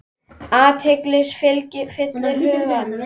Angist fyllir hugann.